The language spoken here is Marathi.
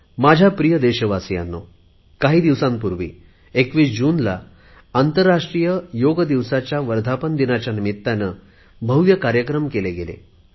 माझ्या प्रिय देशवासीयांनो काही दिवसापूर्वी 21 जून रोजी आंतरराष्ट्रीय योग दिवसाच्या वर्धापन दिनाबद्दल भव्य कार्यक्रम केले गेले